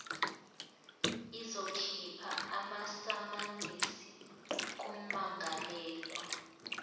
izokhipha amasamanisi kummangalelwa